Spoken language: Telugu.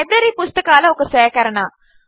లైబ్రరీ పుస్తకాల ఒక సేకరణ